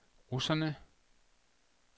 russerne